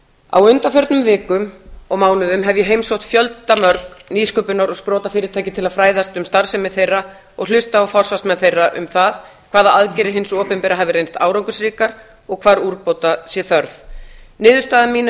á undanförnum vikum og mánuðum hef ég heimsótt fjölda mörg nýsköpunar og sprotafyrirtæki til að fræðast um starfsemi þeirra og hlusta á forsvarsmenn þeirra um það hvaða aðgerðir hins opinbera hafi reynst árangursríkar og hvar úrbóta sé þörf niðurstaða mín er